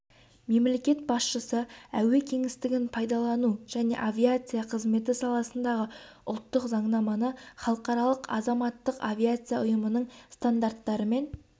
мемлекет басшысы әуе кеңістігін пайдалану және авиация қызметі саласындағы ұлттық заңнаманы халықаралық азаматтық авиация ұйымының стандарттарымен